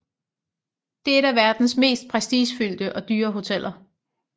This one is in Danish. Det er et af verdens mest prestigefyldte og dyre hoteller